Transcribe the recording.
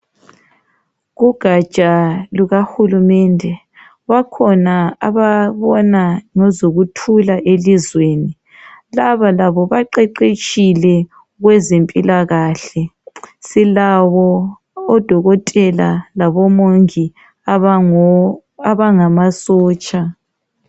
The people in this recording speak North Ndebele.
Kugatsha lukahulumende bakhona ababona ngezokuthula elizweni laba labo baqeqetshile kwezempilakahle. Silabo odokotela labomongi abangamasotsha.